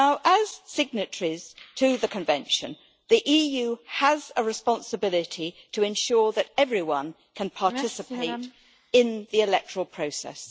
As signatories to the Convention, the EU has a responsibility to ensure that everyone can participate in the electoral process.